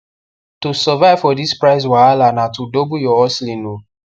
to survive for this price wahala na to double ur hustling o